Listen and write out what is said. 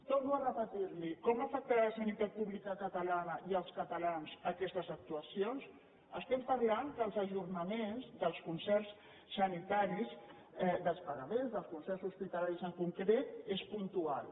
torno a repetir li ho com afectaran la sanitat pública catalana i els catalans aquestes actuacions estem parlant que els ajornaments dels concerts sanitaris dels pagaments dels concerts hospitalaris en concret són puntuals